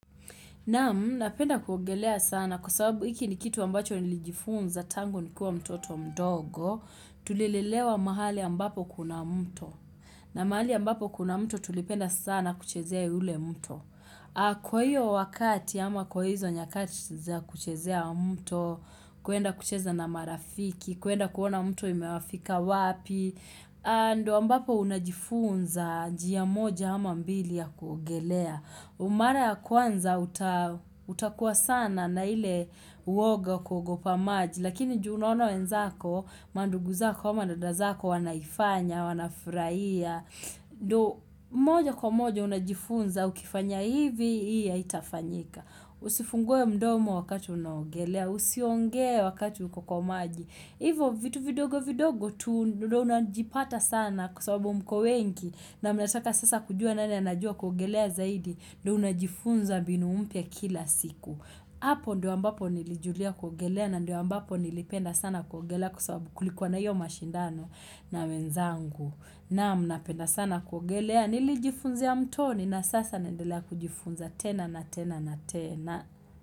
Naam, napenda kuogelea sana kwa sababu iki ni kitu ambacho nilijifunza tangu nikiwa mtoto mdogo, tulilelewa mahali ambapo kuna mto. Na mahali ambapo kuna mto tulipenda sana kuchezea yule mto. Kwa hiyo wakati ama kwa hizo nyakati za kuchezea mto, kuenda kucheza na marafiki, kuenda kuona mto imewafika wapi, a ndo ambapo unajifunza njia moja ama mbili ya kuogelea. Umara ya kwanza utakuwa sana na ile uoga kogopa maji Lakini juu unaona wenzako, mandugu zako, ama dada zako wanaifanya, wanafraia ndo moja kwa moja unajifunza ukifanya hivi, hii haitafanyika Usifungue mdomo wakati unaogelea, usiongee wakati uko kwa maji Hivo vitu vidogo vidogo tu unajipata sana kwa sababu mko wengi na mnataka sasa kujua nani anajua kuogelea zaidi ndo unajifunza mbinu mpya kila siku Apo ndio ambapo nilijulia kuogelea na ndio ambapo nilipenda sana kuogelea Kwa sababu kulikuwa na iyo mashindano na wenzangu Naam napenda sana kuogelea Nilijifunzia mtoni na sasa naendelea kujifunza tena na tena.